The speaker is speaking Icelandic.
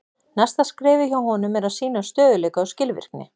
Næsta skrefið hjá honum er að sýna stöðugleika og skilvirkni.